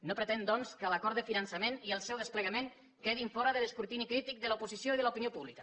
no pretenc doncs que l’acord de finançament i el seu desplegament quedin fora de l’escrutini crític de l’oposició i de l’opinió pública